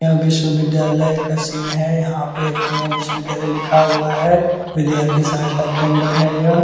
यह विश्वविद्यालय का सीन है यहाँ पे पूर्णिया विश्वविद्यालय लिखा हुआ है विद्यार्थी सहायता केंद्र है यह।